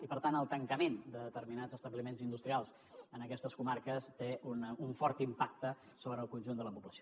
i per tant el tancament de determinats establiments industrials en aquestes comarques té un fort impacte sobre el conjunt de la població